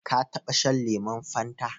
Ka taɓa shan lemon Fanta?